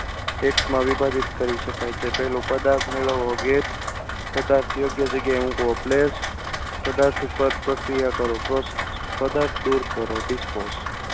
Act માં વિભાજિત કરી શકાય છે. પહેલું પદાર્થ મેળવવો get પદાર્થને કઈ જગ્યાએ મુકવો place પદાર્થ ઉપર પ્રક્રિયા કરો. process પદાર્થ દૂર કરો dispose